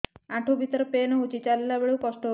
ଆଣ୍ଠୁ ଭିତରେ ପେନ୍ ହଉଚି ଚାଲିଲା ବେଳକୁ କଷ୍ଟ ହଉଚି